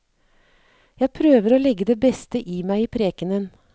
Jeg prøver å legge det beste i meg i prekenen.